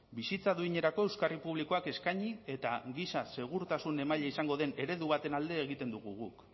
bizitza duinerako euskarri publikoak eskaini eta giza segurtasun emaile izango den eredu baten alde egiten dugu guk